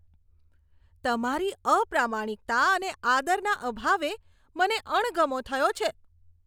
તમારી અપ્રમાણિકતા અને આદરના અભાવે મને અણગમો થયો છે.